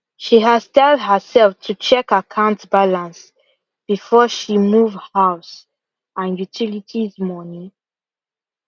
she has tell her self to check akant balance before she move house and utilities money